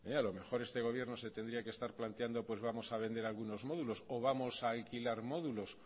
a lo mejor este gobierno se tendría que estar planteando vamos a vender algunos módulos o vamos a alquilar módulos